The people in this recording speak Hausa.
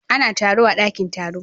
Ana taro a daƙin taro.